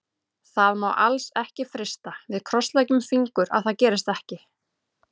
Það má alls ekki frysta, við krossleggjum fingur að það gerist ekki.